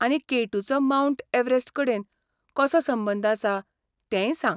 आनी केटूचो Mount Everest कडेन कसो संबंद आसा तेंय सांग.